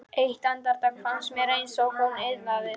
Eitt andartak fannst mér eins og hún iðaði.